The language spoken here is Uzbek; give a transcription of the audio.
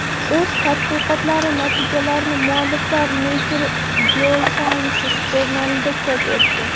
O‘z tadqiqotlari natijalarini mualliflar Nature Geosciences jurnalida chop etdi .